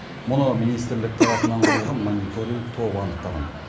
мұны министрлік тарапынан құрылған мониторинг тобы анықтаған